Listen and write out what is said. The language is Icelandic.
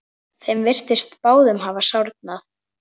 Þeim virtist báðum hafa sárnað.